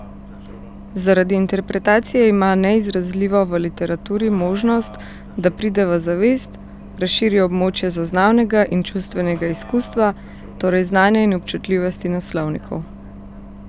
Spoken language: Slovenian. Zaradi interpretacije ima neizrazljivo v literaturi možnost, da pride v zavest, razširi območje zaznavnega in čustvenega izkustva, torej znanja in občutljivosti naslovnikov.